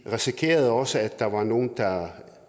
risikerede også at der var nogle der